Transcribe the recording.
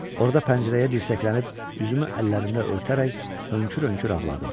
Orada pəncərəyə dirsəklənib, üzümü əllərimlə örtərək hönkür-hönkür ağladım.